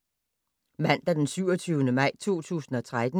Mandag d. 27. maj 2013